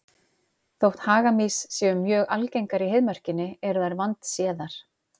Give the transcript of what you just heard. Þótt hagamýs séu mjög algengar í Heiðmörkinni eru þær vandséðar.